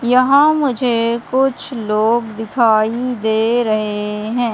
यहाँ मुझे कुछ लोग दिखाई दे रहे हैं।